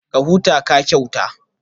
Ka huta, ka kyauta